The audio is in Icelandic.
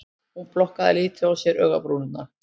Hún plokkar lítið á sér augabrúnirnar